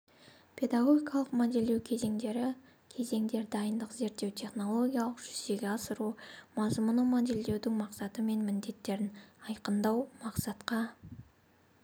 педагогикалық модельдеу кезеңдері кезеңдер дайындық зерттеу технологиялық жүзеге асыру мазмұны модельдеудің мақсаты мен міндеттерін айқындау мақсатқа